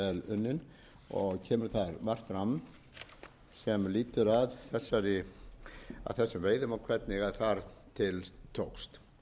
unnin og kemur þar margt fram sem lýtur að þessum veiðum og hvernig þar til tókst